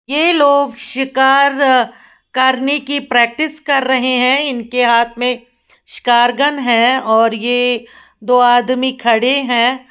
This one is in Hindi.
ये लोग शिकार करने की प्रैक्टिस कर रहे है। इनके हाथ मे शिकार गन है और ये दो आदमी खड़े है।